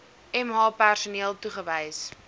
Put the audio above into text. mh personeel toegewys